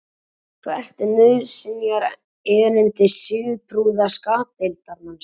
hvert er nauðsynjaerindi siðprúða skapdeildarmannsins